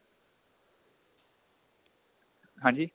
ਹਾਂਜੀ